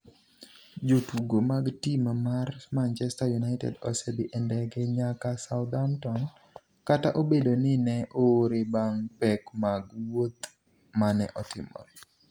Jotugo mag tim mar Manchester United osedhi e ndege nyaka Southampton kata obedo ni ne oore bang' pek mag wuoth mane otimore.